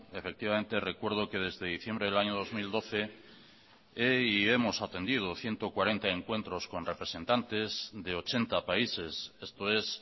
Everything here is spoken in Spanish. efectivamente recuerdo que desde diciembre del año dos mil doce he y hemos atendido ciento cuarenta encuentros con representantes de ochenta países esto es